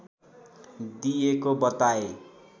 दिएको बताए